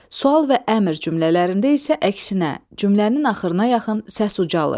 Sual və əmr cümlələrində isə əksinə, cümlənin axırına yaxın səs ucalır.